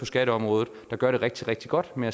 skatteområdet der gør det rigtig rigtig godt med